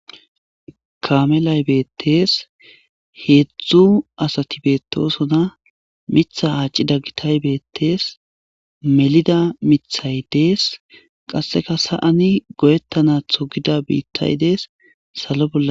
Kaamelay beettes. Heedzdzu asati beetosona. Miththa aaccida gitay beettes. Melida miththay dees. Qasseka sa'an goyetanaththo gida biittay dees. Salo bolla....